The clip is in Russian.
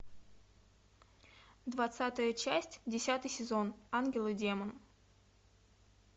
двадцатая часть десятый сезон ангел и демон